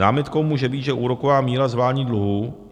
Námitkou může být, že úroková míra z vládních dluhů